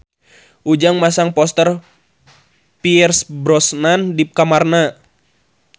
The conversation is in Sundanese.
Ujang masang poster Pierce Brosnan di kamarna